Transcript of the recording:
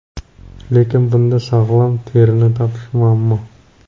Lekin bunda sog‘lom terini topish muammo.